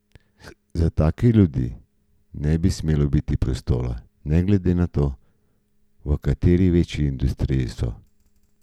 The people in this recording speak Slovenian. Za take ljudi ne bi smelo biti prostora, ne glede na to, v kateri veji industrije so.